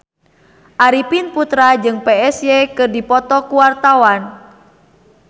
Arifin Putra jeung Psy keur dipoto ku wartawan